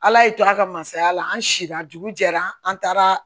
Ala y'i to a ka masaya la an siran dugu jɛra an taara